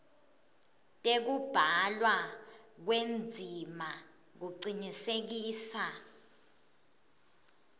tekubhalwa kwendzima kucinisekisa